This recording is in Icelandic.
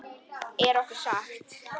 Er okkur sagt.